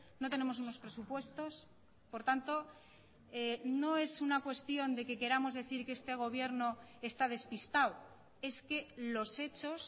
no tenemos unos presupuestos por tanto no es una cuestión de que queramos decir que este gobierno está despistado es que los hechos